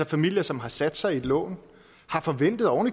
familier som har sat sig i et lån har forventet og